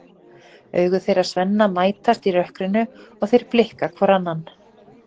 Augu þeirra Svenna mætast í rökkrinu og þeir blikka hvor annan.